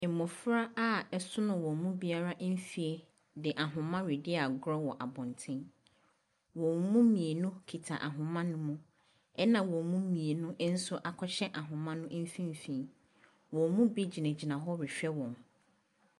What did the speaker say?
Mmofra a ɛsono wɔn mu biara mfie de ahama redi agoro wɔ abɔnten. Wɔn mu mmeinu kita ahoma no mu. Ɛna wɔn mu mmienu nso akɔhyɛ ahoma no mfinfin. Wɔn mu bi gyinagyina hɔ rehwɛ wɔn.